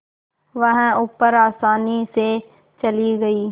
वह ऊपर आसानी से चली गई